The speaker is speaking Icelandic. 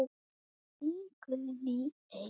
Þín Guðný Eik.